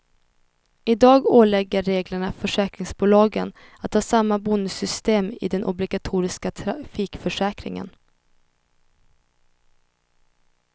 I dag ålägger reglerna försäkringsbolagen att ha samma bonussystem i den obligatoriska trafikförsäkringen.